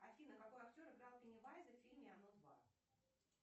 афина какой актер играл пеннивайза в фильме оно два